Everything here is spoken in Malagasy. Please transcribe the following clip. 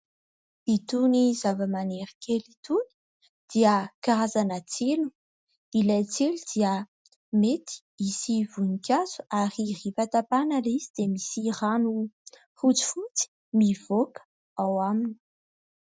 Itony zava-maniry kely itony dia karazana tsilo. Ilay tsilo dia mety hisy voninkazo ary rehefa tapahana ilay izy dia misy rano fotsifotsy mivoaka ao aminy.